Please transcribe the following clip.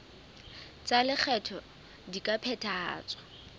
tsa lekgetho di ka phethahatswa